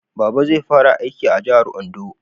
Baba zai fara aiki a jahar Ondo